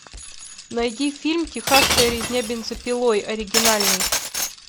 найди фильм техасская резня бензопилой оригинальный